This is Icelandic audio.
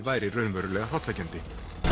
væri raunverulega hrollvekjandi